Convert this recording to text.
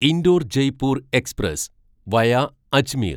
Indore Jaipur express via Ajmer